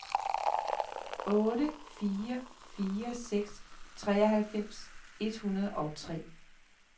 otte fire fire seks treoghalvfems et hundrede og tre